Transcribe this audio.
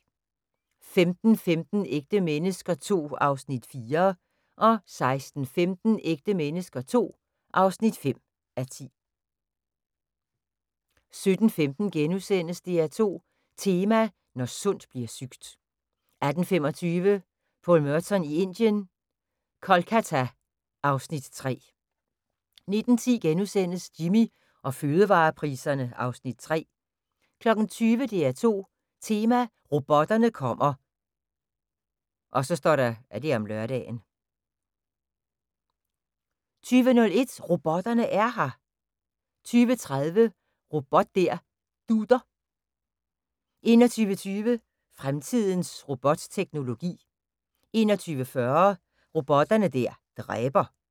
15:15: Ægte mennesker II (4:10) 16:15: Ægte mennesker II (5:10) 17:15: DR2 Tema: Når sundt bliver sygt * 18:25: Paul Merton i Indien – Kolkata (Afs. 3) 19:10: Jimmy og fødevarepriserne (Afs. 3)* 20:00: DR2 Tema: Robotterne kommer (lør) 20:01: Robotterne er her! 20:30: Robot der dutter 21:20: Fremtidens robotteknologi 21:40: Robotter der dræber